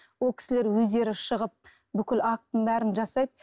ол кісілер өздері шығып бүкіл актінің бәрін жасайды